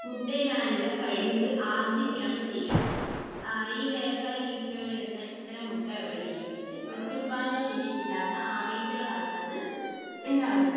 മുട്ടയിടാനുള്ള കഴിവ് ആർജ്ജിക്കുകയാണ് ചെയ്യുക. ഈ വേലക്കാരി ഈച്ചകൾ ഇടുന്ന ഇത്തരം മുട്ടകൾ വിരിഞ്ഞിട്ട് പ്രത്യുൽപ്പാദന ശേഷിയില്ലാത്ത ആണീച്ചകൾ ആയിട്ടാണ് ഉണ്ടാകുന്നത്.